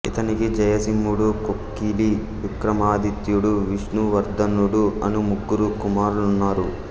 ఇతనికి జయసింహుడు కొక్కిలి విక్రమాదిత్యుడు విష్ణువర్ధనుడు అను ముగ్గురు కుమారులున్నారు